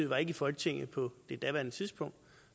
var i folketinget på daværende tidspunkt